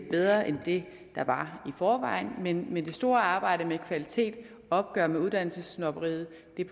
bedre end det der var i forvejen men det store arbejde med kvaliteten og opgøret med uddannelsessnobberiet